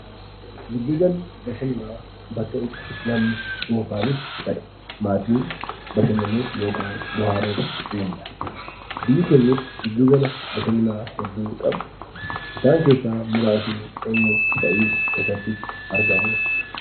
Giddu galli bashannanaa bakka itti namni dhuunfaanis ta'ee; maatiin bashannanuuf yookiin bo'aaruuf deemuu dha. Biyyi keenyaas giddu gala bashannanaa hedduu qabdi. Isaan keessaas muraasni eenyuu fa'ii, eessatti immoo argamu?